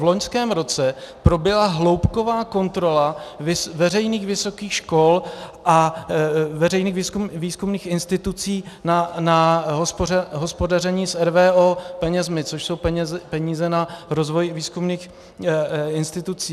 V loňském roce proběhla hloubková kontrola veřejných vysokých škol a veřejných výzkumných institucí na hospodaření s RVO penězi, což jsou peníze na rozvoj výzkumných institucí.